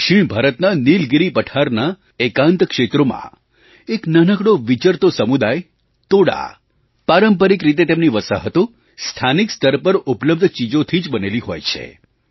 દક્ષિણ ભારતના નીલગિરી પઠારનાં એકાંત ક્ષેત્રોમાં એક નાનકડો વિચરતો સમુદાયતોડા પારંપરિક રીતે તેમની વસાહતો સ્થાનિક સ્તર પર ઉપલબ્ધ ચીજોથી જ બનેલી હોય છે